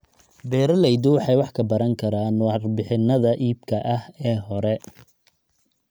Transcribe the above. Beeraleydu waxay wax ka baran karaan warbixinnada iibka ee hore